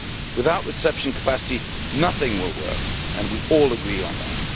Without reception capacity nothing will work, and we all agree on that.